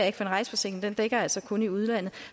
ikke for en rejseforsikring dækker altså kun i udlandet